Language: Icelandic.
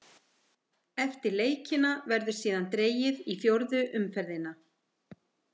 Eftir leikina verður síðan dregið í fjórðu umferðina.